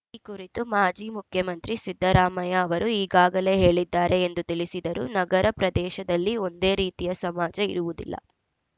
ಈ ಕುರಿತು ಮಾಜಿ ಮುಖ್ಯಮಂತ್ರಿ ಸಿದ್ದರಾಮಯ್ಯ ಅವರು ಈಗಾಗಲೇ ಹೇಳಿದ್ದಾರೆ ಎಂದು ತಿಳಿಸಿದರು ನಗರ ಪ್ರದೇಶದಲ್ಲಿ ಒಂದೇ ರೀತಿಯ ಸಮಾಜ ಇರುವುದಿಲ್ಲ